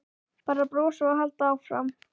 Bara brosa og halda áfram.